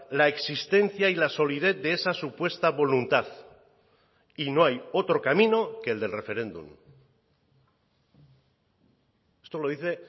la existencia y la solidez de esa supuesta voluntad y no hay otro camino que el del referéndum esto lo dice